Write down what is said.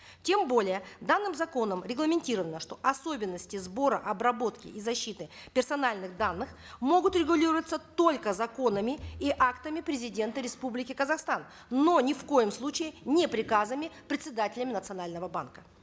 тем более данным законом регламентировано что особенности сбора обработки и защиты персональных данных могут регулироваться только законами и актами президента республики казахстан но ни в коем случае не приказами председателями национального банка